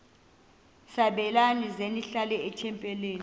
sabelani zenihlal etempileni